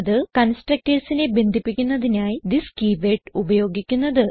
Constructorsനെ ബന്ധിപ്പിക്കുന്നതിനായി this keyword ഉപയോഗിക്കുന്നത്